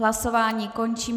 Hlasování končím.